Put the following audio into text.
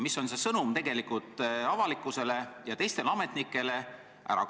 Mis on see sõnum avalikkusele ja teistele ametnikele?